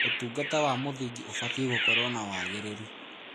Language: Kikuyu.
ũtungata wa mũthingi ũbataire gũkorwo na wagĩrĩru.